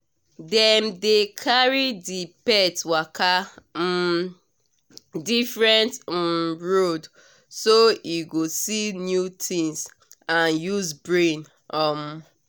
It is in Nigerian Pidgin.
dem dey carry the pet waka um different um road so e go see new things and use brain um